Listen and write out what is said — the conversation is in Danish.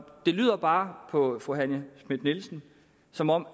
det lyder bare på fru johanne schmidt nielsen som om